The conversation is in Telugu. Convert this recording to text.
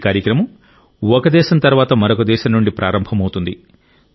ఈ కార్యక్రమం ఒక దేశం తర్వాత మరొక దేశం నుండి ప్రారంభమవుతుంది